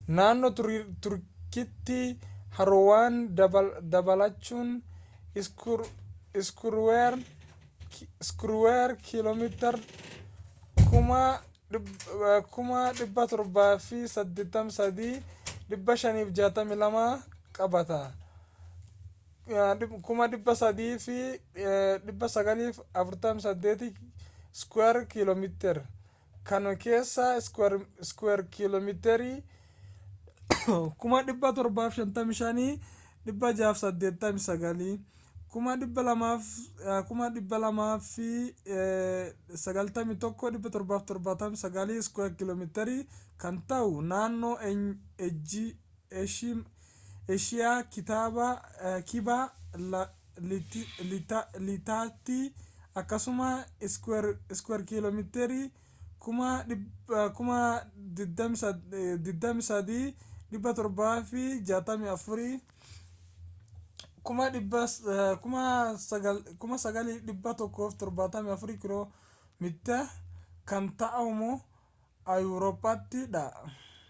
naannoo turkiitti haroowwan dabalachuun iskuweer kiloometiiri 783,562 qabata 300,948 sq mi kan keessaa iskuweer kiloometirii 755,688 291,773 sq mi kan ta’u naannoo eeshiyaa kibba lixaatti akkasuma iskuweer kiloometiri 23,764 9,174 sq mi kan ta’ummoo awuurroppatit dha